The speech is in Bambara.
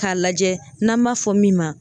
K'a lajɛ n'an b'a fɔ min ma